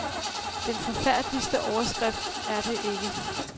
Den forfærdeligste overskrift er det ikke.